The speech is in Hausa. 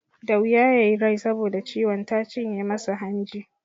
Da wuya ya yi rai saboda ciwon ta cinye masa hanji.